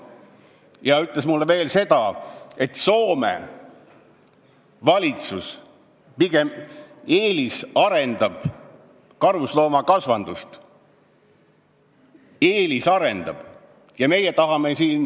Ta ütles mulle veel seda, et Soome valitsus pigem eelisarendab karusloomakasvatust – eelisarendab!